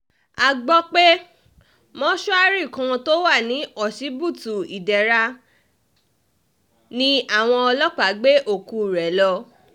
a gbọ́ pé mọ́ṣúárì kan tó wà ní ọsibítù ìdẹ̀ra ni àwọn ọlọ́pàá gbé òkú rẹ̀ lọ